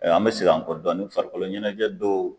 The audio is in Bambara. an bɛ segin an kɔ dɔɔni farikolo ɲɛnajɛ dɔw